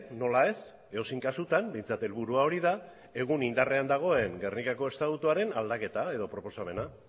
nola ez edozein kasutan behintzat helburua hori da egun indarrean dagoen gernikako estatutuaren aldaketa edo proposamena